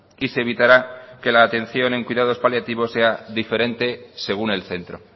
y se evitará que la atención en cuidados paliativos sea diferente según el centro